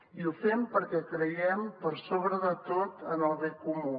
i ho fem perquè creiem per sobre de tot en el bé comú